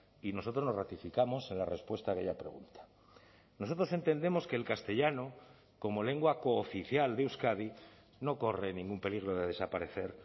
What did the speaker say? y nosotros nos ratificamos en la respuesta a aquella pregunta nosotros entendemos que el castellano como lengua cooficial de euskadi no corre ningún peligro de desaparecer